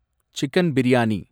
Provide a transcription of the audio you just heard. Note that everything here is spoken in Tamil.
சிக்கன் பிரியாணி